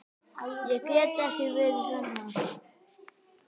Ég get ekki verið annað.